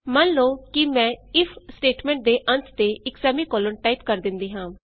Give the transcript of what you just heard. ਮੰਨ ਲਉ ਕਿ ਮੈਂ ਇਫ ਸਟੇਟਮੈਂਟ ਦੇ ਅੰਤ ਤੇ ਇਕ ਸੈਮੀਕੋਲਨ ਟਾਈਪ ਕਰ ਦਿੰਦੀ ਹਾਂ